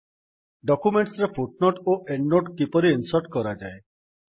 ଡକ୍ୟୁମେଣ୍ଟ୍ସରେ footnote ଓ endnote କିପରି insert କରାଯାଏ